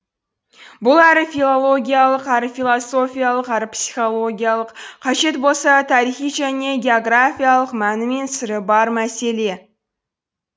бұл әрі филологиялық әрі философиялық әрі психологиялық қажет болса тарихи және географиялық мәні мен сыры бар мәселе